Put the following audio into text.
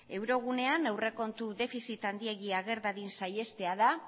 euro gunean aurrekontu defizit handiegia ager dadin saihestea da